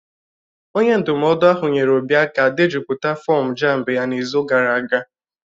Onye ndụmọdụ ahụ nyeere Obi aka dejupụta fọm JAMB ya n'izu gara aga.